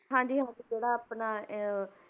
ਹਾਂਜੀ ਹਾਂਜੀ ਥੋੜ੍ਹਾ ਆਪਣਾ ਇਹ,